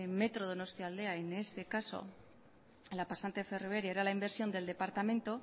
metro donosiataldea en este caso en la pasante ferroviaria era la inversión del departamento